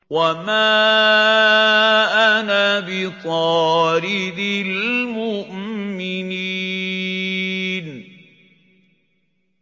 وَمَا أَنَا بِطَارِدِ الْمُؤْمِنِينَ